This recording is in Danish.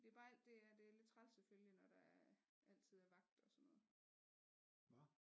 Det er bare alt det det er lidt træls selvfølgelig når der altid er vagt og sådan noget